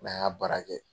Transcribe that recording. N'an y'a baara kɛ